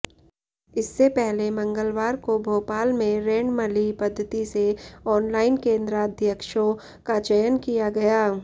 इससे पहले मंगलवार को भोपाल में रेंडमली पद्धति से ऑनलाइन केंद्राध्यक्षों का चयन किया गया